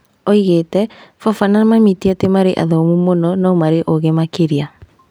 Oigĩte"Baba na mami tiatĩ marĩa athomu mũno, no marĩ ogĩ makĩria"